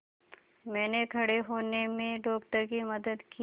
मैंने खड़े होने में डॉक्टर की मदद की